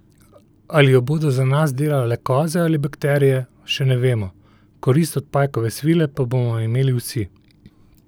Ali jo bodo za nas delale koze ali bakterije, še ne vemo, korist od pajkove svile pa bomo imeli vsi!